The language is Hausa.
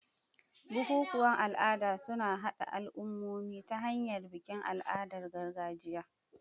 Bukukuwan al'ada suna haɗa al'ummomi ta hanyar bikin al'adun gargajiya.